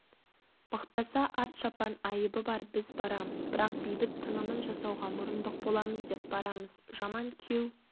мықтаса ат-шапан айыбы бар біз барамыз бірақ бейбіт тынымын жасауға мұрындық боламыз деп барамыз жаман күйеу